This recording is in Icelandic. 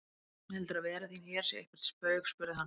Heldurðu að vera þín hér sé eitthvert spaug spurði hann.